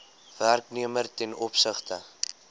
werknemer ten opsigte